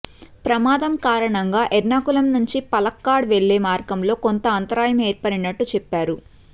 ప్రమాదం కారణంగా ఎర్నాకులం నుంచి పలక్కాడ్ వెళ్లే మార్గంలో కొంత అంతరాయం ఏర్పడినట్టు చెప్పారు